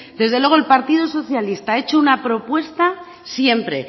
desde luego el partido socialista ha hecho una propuesta siempre